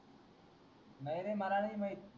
नाय रे माला नाय माहित